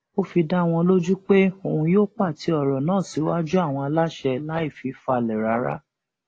ó fi dá wọn lójú pé òun yóò pàtẹ ọrọ náà síwájú àwọn aláṣẹ láì fi falẹ rárá